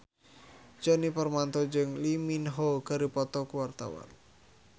Djoni Permato jeung Lee Min Ho keur dipoto ku wartawan